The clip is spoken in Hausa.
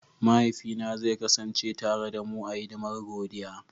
Mahaifina zai kasance tare da mu a hidimar godiya.